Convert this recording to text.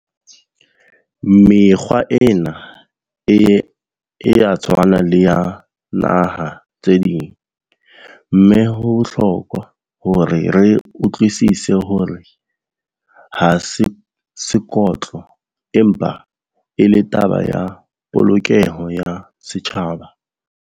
Mekgwa ena e, ea tshwana le ya naha tse ding, mme ho bohlokwa hore re utlwisise hore ha sekotlo empa e le taba ya polokeho ya setjhaba.